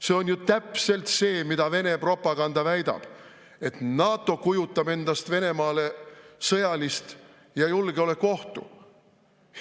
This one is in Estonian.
See on täpselt see, mida Vene propaganda väidab: NATO kujutab endast Venemaale sõjalist ja julgeoleku ohtu.